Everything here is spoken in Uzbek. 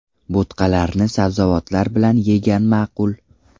Bo‘tqalarni sabzavotlar bilan yegan ma’qul.